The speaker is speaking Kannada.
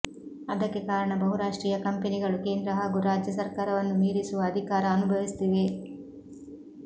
ಅದಕ್ಕೆ ಕಾರಣ ಬಹುರಾಷ್ಟ್ರೀಯ ಕಂಪನಿಗಳು ಕೇಂದ್ರ ಹಾಗೂ ರಾಜ್ಯ ಸರ್ಕಾರವನ್ನು ಮೀರಿಸುವ ಅಧಿಕಾರ ಅನುಭವಿಸುತ್ತಿವೆ